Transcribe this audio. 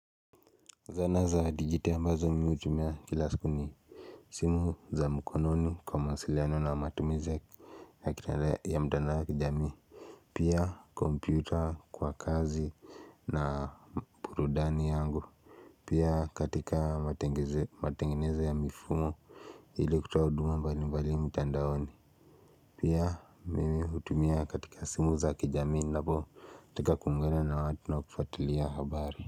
Zana za digit ambazo mimi hutumia kila siku ni simu za mkononi kwa mawasiliano na matumizi ya kitarehe ya mtandao ya kijamii Pia kompyuta kwa kazi na burudani yangu Pia katika matengeze matengenezo ya mifumo ili kutoa huduma mbali mbali mtandaoni Pia mimi hutumia katika simu za kijamii ninapo katika kumwena na watu na kufuatilia habari.